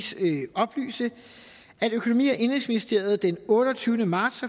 oplyse at økonomi og indenrigsministeriet den otteogtyvende marts